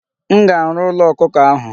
M ga-arụ ụlọ ọkụkọ ahụ.